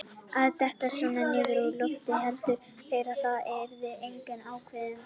Að detta svona niður úr loftinu: héldu þeir það yrðu engar aukaverkanir?